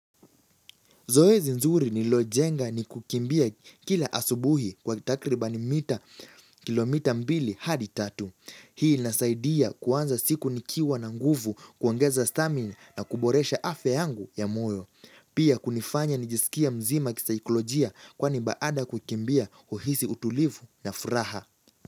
Zoezi nzuri nililojenga ni kukimbia kila asubuhi kwa takribani mita kilomita mbili hadi tatu. Hii inasaidia kuanza siku nikiwa na nguvu kuongeza stamina na kuboresha afya yangu ya moyo. Pia kunifanya nijisikie mzima kisaikolojia kwani baada ya kukimbia uhisi utulivu na furaha.